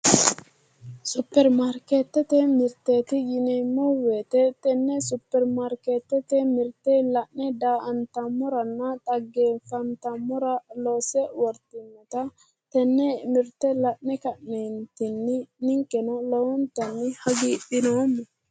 Superimarkeettete mirteeti yineemmo woyiite tenne Superimarkeette mirte la'ne daa"antammoranna dhaggeeffantammora loonse wortinota tenne mirte la'ne ka'neentinni ninkeno lowontanni hagiidhinoommo